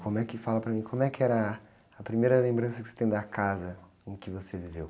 Como é que fala para mim, como é que era a primeira lembrança que você tem da casa em que você viveu?